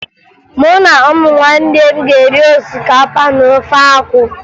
Mụ na ụmụnne m ga-eri osikapa na ofe akwụ